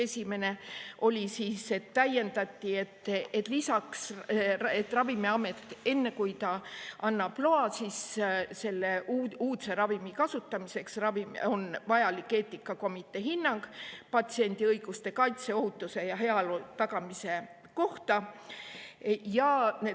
Esimene oli täiendus: enne kui Ravimiamet annab loa uudse ravimi kasutamiseks, on vajalik eetikakomitee hinnang patsiendi õiguste kaitse, ohutuse ja heaolu tagamise kohta.